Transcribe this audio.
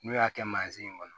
N'u y'a kɛ in kɔnɔ